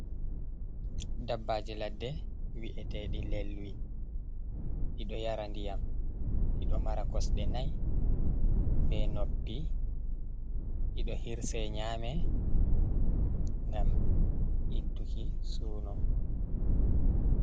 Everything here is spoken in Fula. Ɗabbaji laɗɗe vi'etedi lelwi. Ɗiɗo yara nɗiyam. Ɗiɗo mara kusɗe nai be noppi. Ɗiɗo hirse nyame, ngam ikkuki suno.